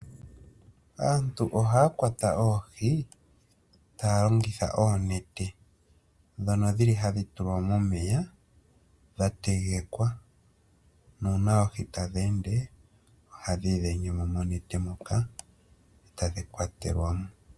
Aantu ohaya kwata oohi taya longitha oonete, ndhono dhili hadhi tulwa momeya dha tegekwa, nuuna oohi tadhi ende, ohadhi idhenge mo monete moka e tadhi kwatelwamo.